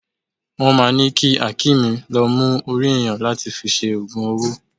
Wọ́n máà ńi ki Hakeem lọ mú orí ènìyàn láti fi ṣe ogun owó.